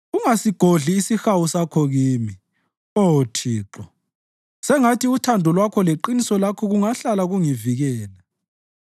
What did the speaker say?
Ungasigodli isihawu sakho kimi, Oh Thixo; sengathi uthando lwakho leqiniso lakho kungahlala kungivikela.